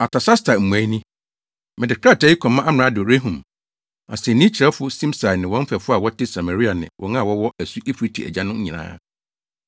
Artasasta mmuae ni: Mede krataa yi kɔma amrado Rehum, asennii kyerɛwfo Simsai ne wɔn mfɛfo a wɔte Samaria ne wɔn a wɔwɔ asu Eufrate agya no nyinaa.